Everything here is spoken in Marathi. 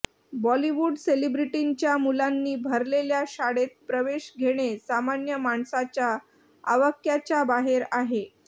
बॉलीवूड सेलिब्रेटींच्या मुलांनी भरलेल्या शाळेत प्रवेश घेणे सामान्य माणसाच्या आवाक्याच्या बाहेर आहे